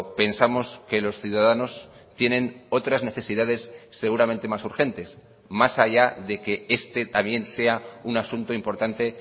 pensamos que los ciudadanos tienen otras necesidades seguramente más urgentes más allá de que este también sea un asunto importante